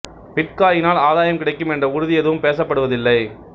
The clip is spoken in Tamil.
பிட்காயினில் ஆதாயம் கிடைக்கும் என்ற உறுதி எதுவும் பேசப் படுவதில்லை